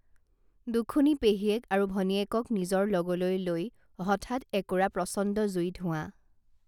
দুখুনী পেহীয়েক আৰু ভনীয়েকক নিজৰ লগলৈ লৈ হঠাৎ একুৰা প্ৰচণ্ড জুই ধোৱাঁ